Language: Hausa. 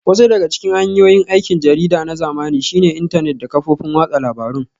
Wasu daga cikin hanyoyin aikin jarida na zamani shine intanet da kafofin watsa labarun